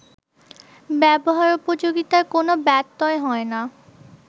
ব্যবহারোপযোগিতার কোনো ব্যত্যয় হয় না